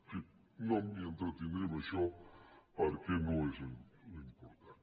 en fi no m’hi entretindré en això perquè no és l’important